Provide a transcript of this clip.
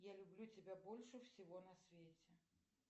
я люблю тебя больше всего на свете